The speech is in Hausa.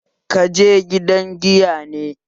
Kaje gidan giya ne?